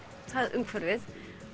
umhverfið